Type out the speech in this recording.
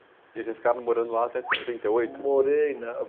E vocês ficaram morando lá até té oitenta e oito? Morei nã